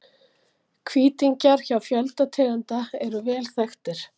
Hvítingjar hjá fjölda tegunda eru vel þekktir.